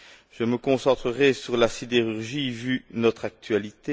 Je me concentrerai sur la sidérurgie, vu notre actualité.